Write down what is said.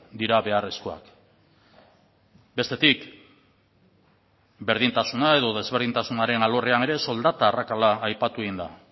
dira beharrezkoak bestetik berdintasuna edo desberdintasunaren alorrean ere soldata arrakala aipatu egin da